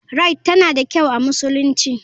Rite tana da kyau a musulunci.